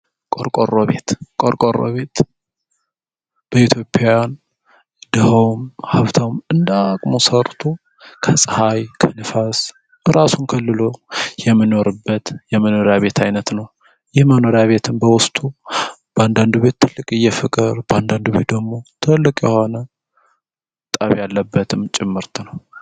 ቆርቆሮ ቤት መቆርቆር ቤት በኢትዮጵያውያን ደሀውም ሀብታሙም እንደ ሀቅሙ ሰርቶ ከፀሀይ ከንፋስ ራሱን ከልሎ የሚኖርበት የመኖሪያ ቤት አይነት ነው። ይህ የመኖሪያ ቤትም በውስጡ በአንዳንድ ቤት ትልቅ የሆነ ፍቅር በአንዳንድ ቤት ደግሞ ጠብ ያለብትም ጭምርት ነው።